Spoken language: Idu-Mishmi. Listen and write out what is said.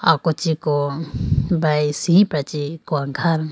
ako chi ko brage chiprachi kone khaye.